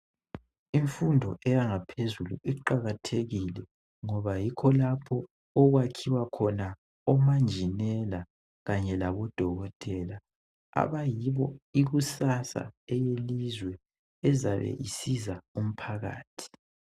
Imfundo eyangaphezulu iqhakathekile ngoba yikho lapha okwakhiwa khona omajinela kanye labo dokotela abayibo ikusasa yelizwe ezabe isiza umphakathi .